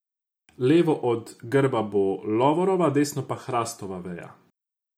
Levo od grba bo lovorova, desno pa hrastova veja.